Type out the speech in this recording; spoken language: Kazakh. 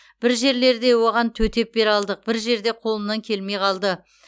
бір жерлерде оған төтеп бере алдық бір жерде қолымнан келмей қалды